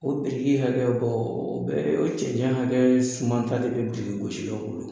O biriki hakɛ bɔ, o bɛ o cɛncɛn hakɛ suma ta de bɛ birikigosilanw bolo.